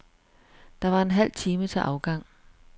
Der var en halv time til afgang.